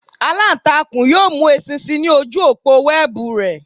Alantakun yoo mu eṣinṣin ni oju opo wẹẹbu rẹ.